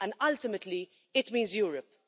Ultimately, it means Europe.